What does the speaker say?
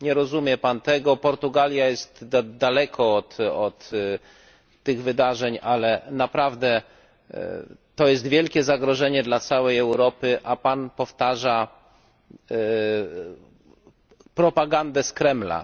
Nie rozumie Pan tego, Portugalia jest daleko od tych wydarzeń, ale naprawdę to jest wielkie zagrożenie dla całej Europy, a Pan powtarza propagandę z Kremla.